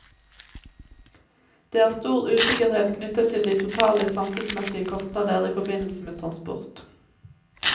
Det er stor usikkerhet knyttet til de totale samfunnsmessige kostnader i forbindelse med transport.